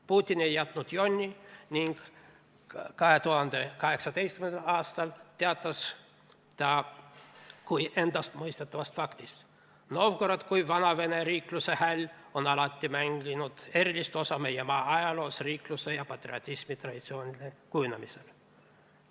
Putin ei jätnud jonni ning 2018. aastal teatas ta kui endastmõistetavast faktist: "Novgorod kui vanavene riikluse häll on alati mänginud erilist osa meie maa ajaloos, riikluse ja patriotismi traditsioonide kujunemisel.